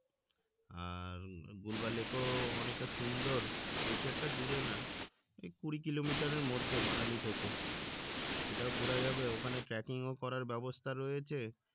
আর Gulaba lake ও অনেক সুন্দর বেশি একটা দূরে না এই কুড়ি কিলোমিটারের মধ্যে মানালি থেকে এটাও ঘোরা যাবে ওখানে ও করার ব্যাবস্থা রয়েছে